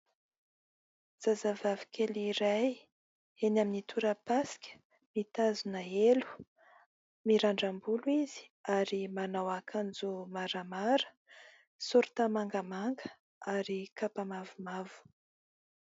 Zazavavy kely iray eny amin'ny toram-pasika, mitazona helo, mirandram-bolo izy ary manao akanjo maramara saorita mangamanga ary kapa mavomavo.